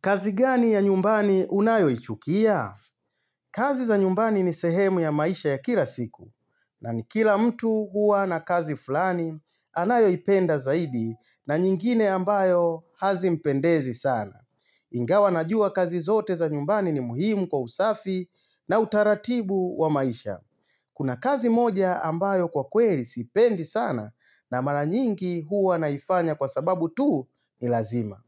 Kazi gani ya nyumbani unayo ichukia? Kazi za nyumbani ni sehemu ya maisha ya kila siku. Na ni kila mtu huwa na kazi fulani anayo ipenda zaidi na nyingine ambayo hazimpendezi sana. Ingawa najua kazi zote za nyumbani ni muhimu kwa usafi na utaratibu wa maisha. Kuna kazi moja ambayo kwa kweli sipendi sana na mara nyingi huwa naifanya kwa sababu tu ni lazima.